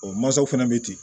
O mansaw fana bɛ ten